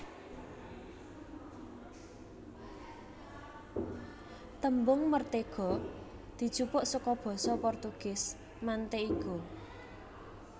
Tembung mertéga dijupuk saka basa Portugis manteiga